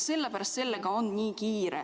Sellepärast on sellega nii kiire.